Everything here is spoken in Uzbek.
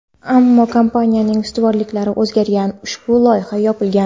Ammo kompaniyaning ustuvorliklari o‘zgargan va ushbu loyiha yopilgan.